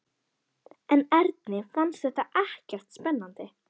En Erni fannst þetta ekkert spennandi.